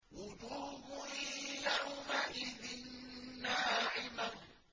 وُجُوهٌ يَوْمَئِذٍ نَّاعِمَةٌ